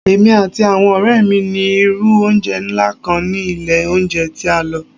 Emi ati awọn ọrẹ mi ni iru ounjẹ nla kan ni ile ounjẹ ti a lọ